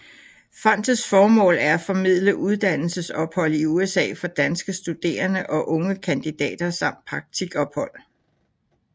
Fondets formål er at formidle uddannelsesophold i USA for danske studerende og unge kandidater samt praktikophold